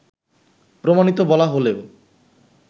প্রমাণিত বলা হলেও